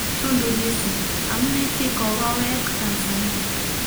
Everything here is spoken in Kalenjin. Tundu Lissu: Amune si kogoweek Tansania